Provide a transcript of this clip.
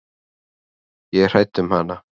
Ég er hrædd um hana.